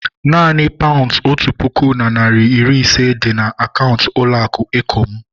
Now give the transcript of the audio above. Naanị paunds otu puku na narị iri ise dị na akaụntụ ụlọ akụ eko m